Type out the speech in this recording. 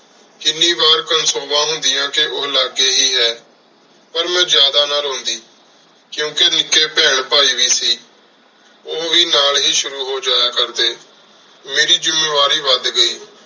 ਕੀਨੀ ਵਾਰ ਕੋਨ੍ਸੋਵਾਂ ਹੁੰਦਿਯਾਂ ਕ ਓਹ ਲਗੀ ਹੇ ਹੈ ਪਰ ਮੇਂ ਜਾਦਾ ਨਾ ਰੋਂਦੀ ਕਿਉਤੀ ਨਿੱਕੀ ਬੇਹਨ ਭਾਈ ਵੀ ਸੀ ਓਹ ਵੀ ਨਾਲ ਹੇ ਸ਼ੁਰੂ ਹੋ ਸ਼ੁਰੂ ਹੋ ਜਯਾ ਕਰਦੀ ਮੇਰੀ ਜ਼ਮਾ ਵਾਰੀ ਵਾਦ ਗਈ